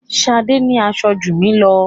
Ṣadé ní aṣọ jù mí lọ.